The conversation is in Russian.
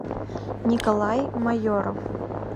николай майоров